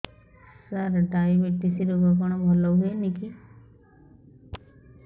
ସାର diabetes ରୋଗ କଣ ଭଲ ହୁଏନି କି